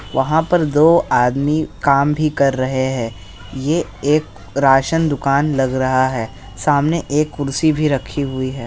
वहाँ पर दो आदमी काम भी कर रहे है ये एक राशन दुकान लग रहा है सामने एक कुर्सी भी रखी हुई है।